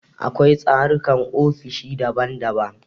Akwai tsarukan ofishi daban daban.